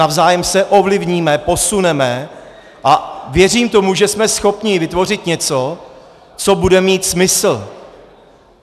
Navzájem se ovlivníme, posuneme a věřím tomu, že jsme schopni vytvořit něco, co bude mít smysl.